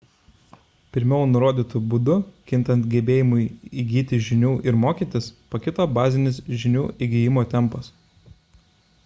pirmiau nurodytu būdu kintant gebėjimui įgyti žinių ir mokytis pakito bazinis žinių įgijimo tempas